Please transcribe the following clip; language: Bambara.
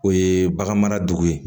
O ye bagan mara dugu ye